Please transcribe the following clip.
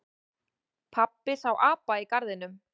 Pabbi sá apa í garðinum.